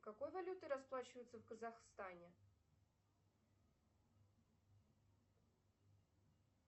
какой валютой расплачиваются в казахстане